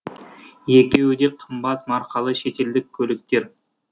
екеуі де қымбат марқалы шетелдік көліктер